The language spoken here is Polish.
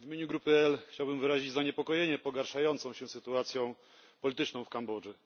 W imieniu grupy PPE chciałbym wyrazić zaniepokojenie pogarszającą się sytuacją polityczną w Kambodży.